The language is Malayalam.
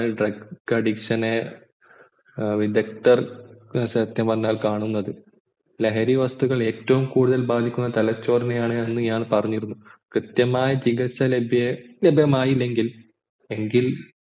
drug addiction നെ വിദക്തർ സത്യം പറഞ്ഞാൽ കാണുന്നത് ലഹരി വസ്തുക്കൾ ഏറ്റവും കൂടുതൽ ബാധിക്കുന്നത് തലച്ചോറിനെയാണ് എന്ന് ഞാൻ പറഞ്ഞിരുന്നു കൃത്യമായി ചികിത്സ ലഭ്യമായില്ലെങ്കിൽ എങ്കിൽ